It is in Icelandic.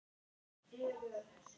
Og ekki skorti efni.